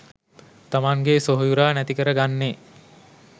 තමන්ගේ සොහොයුරා නැති කරගන්නේ .